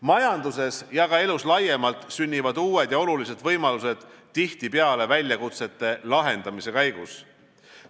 Majanduses ja ka elus laiemalt sünnivad uued ja olulised võimalused tihtipeale väljakutsete lahendamise käigus.